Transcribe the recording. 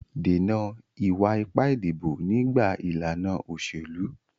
Dènà ìwà ipá ìdìbò nígbà ìlànà òṣèlú.